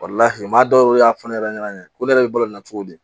maa dɔw yɛrɛ y'a fɔ ne yɛrɛ ɲɛna ko ne yɛrɛ bɛ balo nin na cogo di